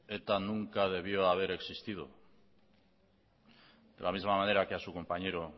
eta nunca debió haber existido de la misma manera que a su compañero